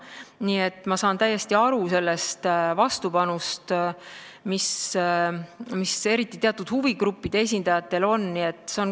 Nii et ma saan täiesti aru sellest vastuseisust, mis eriti teatud huvigruppide esindajatel on.